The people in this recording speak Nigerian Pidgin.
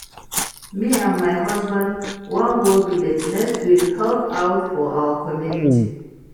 Me and my husband wan go village next week help out for our community